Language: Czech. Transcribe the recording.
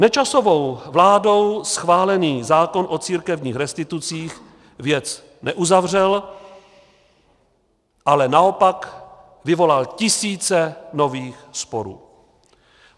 Nečasovou vládou schválený zákon o církevních restitucích věc neuzavřel, ale naopak vyvolal tisíce nových sporů.